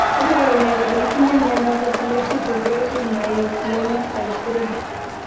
Iporu ne kole itinye miondap Epilepsy progressive myoclonic type 3?